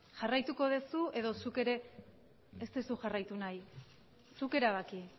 jarraituko duzu edo zuk ere ez duzu jarraitu nahi zuk erabaki